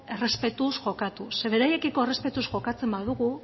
errespetuz jokatuz ze beraiekiko errespetuz jokatzen badugu